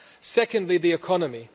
Secondly, the economy.